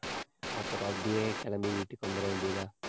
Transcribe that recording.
அப்புறம் அப்படியே கிளம்பி வீட்டுக்கு வந்தர வேண்டியது தான்.